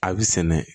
A bɛ sɛnɛ